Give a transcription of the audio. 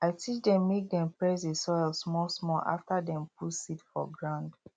i teach dem make dem press the soil smallsmall after dem put seed for ground